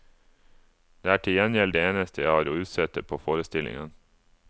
Det er til gjengjeld det eneste jeg har å utsette på forestillingen.